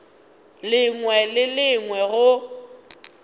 lengwe le le lengwe go